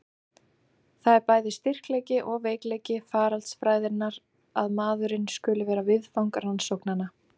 Það er bæði styrkleiki og veikleiki faraldsfræðinnar að maðurinn skuli vera viðfang rannsóknanna.